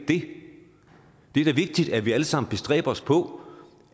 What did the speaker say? det er da vigtigt at vi alle sammen bestræber os på